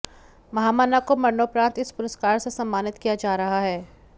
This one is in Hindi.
महामना को मरणोपरांत इस पुरस्कार से सम्मानित किया जा रहा है